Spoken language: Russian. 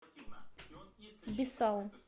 бисау